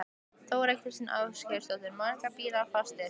Þóra Kristín Ásgeirsdóttir: Margir bílar fastir?